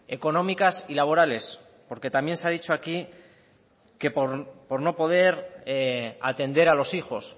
económicas y laborales porque también se ha dicho aquí que por no poder atender a los hijos